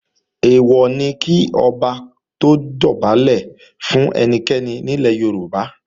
Èèwọ̀ ni kí Ọba dọ̀bálẹ̀ fún ẹnikẹ́ni ní ilẹ̀ Yorùbá